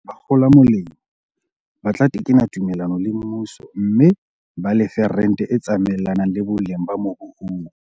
Bakgola molemo ba tla tekena tumellano le mmuso mme ba lefe rente e tsamaelanang le boleng ba mobu oo.